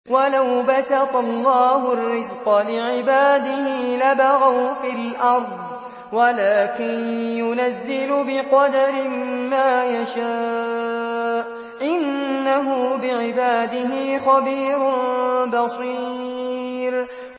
۞ وَلَوْ بَسَطَ اللَّهُ الرِّزْقَ لِعِبَادِهِ لَبَغَوْا فِي الْأَرْضِ وَلَٰكِن يُنَزِّلُ بِقَدَرٍ مَّا يَشَاءُ ۚ إِنَّهُ بِعِبَادِهِ خَبِيرٌ بَصِيرٌ